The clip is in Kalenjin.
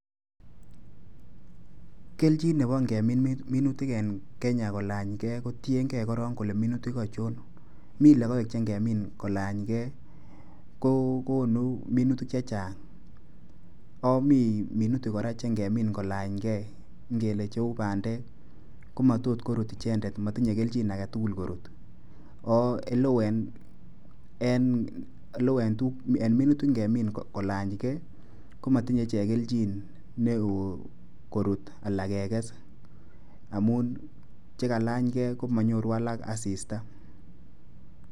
Keljin nebo ngemin minutik en kenya kolanygei kotiengei korong kole minutik achon. Mi logoek che ngemin kolanygei ko konu minutik chechang. Ako mi minutik kora che ngemin kolanygei ngele cheu bandek ko matot korut ichendet. matinyei keljin agetugul korut. Ako oleoo en minutik ngemin kolanygei komatinyei ichek keljin neoo korut ala keges amun che kalanygei komanyorun alage asista.